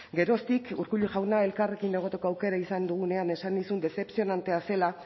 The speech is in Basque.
geroztik urkullu jauna elkarrekin egoteko aukera izan dugunean esan nizun dezepzionantea zela